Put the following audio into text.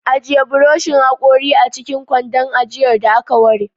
Ajiye buroshin hakori a cikin kwandon ajiyar da aka ware.